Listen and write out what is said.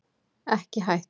Ekki hætt